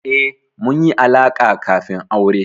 Eh, mun yi alaƙa kafin aure.